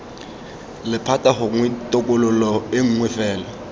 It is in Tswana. lephata gongwe tokololo nngwe fela